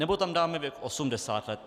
Nebo tam dáme věk 80 let.